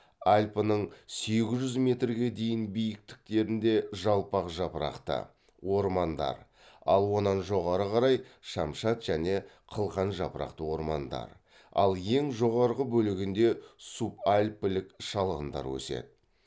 альпінің сегіз жүзге дейінгі биіктіктерінде жалпақ жапырақты ормандар ал онан жоғары қарай шамшат және қылқан жапырақты ормандар ал ең жоғарғы бөлігінде субальпілік шалғындар өседі